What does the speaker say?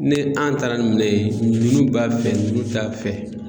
Ne an taara nin minɛn ye ninnu b'a fɛ ninnu t'a fɛ